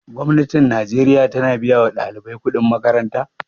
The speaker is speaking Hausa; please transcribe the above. Gwamnatin najeriya ta na biya wa ɗalibai kuɗin makaranta?